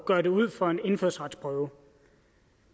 gøre det ud for en indfødsretsprøve